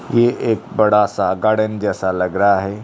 ये एक बड़ा सा गार्डन जैसा लग रहा है।